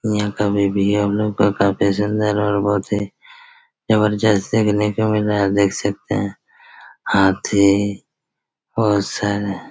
यहाँ कभी- भी हम लोग काफी ज़िंदा जबरजस्त देखने को मिल रहा है देख सकते है हाथी बहोत सारे--